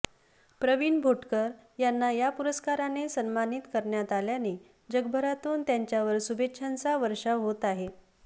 प्रवीण भोटकर यांना या पुरस्काराने सन्मानित करण्यात आल्याने जगभरातून त्यांच्यावर शुभेच्छांचा वर्षाव होत आहे